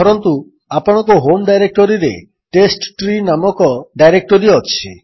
ଧରନ୍ତୁ ଆପଣଙ୍କ ହୋମ୍ ଡାଇରେକ୍ଟୋରୀରେ ଟେଷ୍ଟଟ୍ରୀ ନାମକ ଡାଇରେକ୍ଟୋରୀ ଅଛି